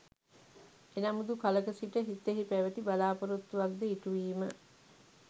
එනමුදු කලක සිට සිතෙහි පැවති බලාපොරොත්තුවක් ද ඉටුවීම